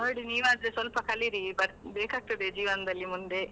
ನೋಡಿ ನೀವಾದ್ರು ಸ್ವಲ್ಪ ಕಲೀರಿ, ಬೇಕಾಗ್ತದೆ ಜೀವನದಲ್ಲಿ ಮುಂದೆ.